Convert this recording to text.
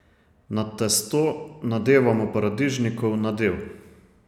Na testo nadevamo paradižnikov nadev.